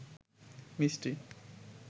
মিষ্টি